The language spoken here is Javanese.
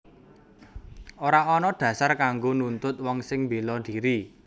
Ora ana dhasar kanggo nuntut wong sing mbéla dhiri